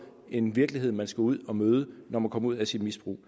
en virkelighed man skal ud at møde når man kommer ud af sit misbrug